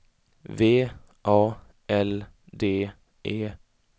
V A L D E